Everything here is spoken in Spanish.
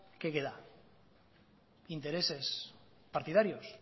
qué queda intereses partidarios